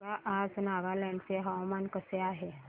सांगा आज नागालँड चे हवामान कसे आहे